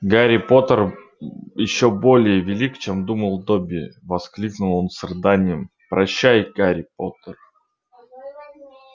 гарри поттер ещё более велик чем думал добби воскликнул он с рыданием прощай гарри поттер